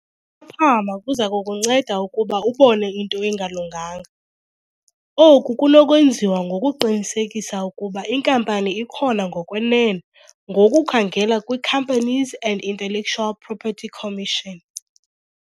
uphaphama kuza kukunceda ukuba ubone into engalunganga. Oku kunokwenziwa ngokuqinisekisa ukuba inkampani ikhona ngokwenene ngokukhangela kwi-Companies and Intellectual Property Commission.